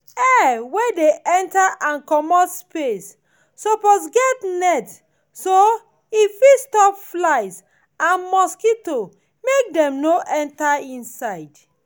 air wey dey enter and comot space suppose get net so e fit stop flies and mosquitoes make dem no enter inside